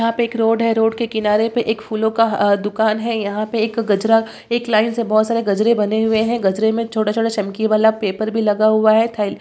यहाँ पे एक रोड है रोड के किनारे पे एक फूलो का दुकान है यहाँ पे एक गजरा एक लाइन से बहुत सारे गजरे बने हुए हैं गजरे में एक छोटा-छोटा चमकी वाला पेपर भी लगा हुआ है थै --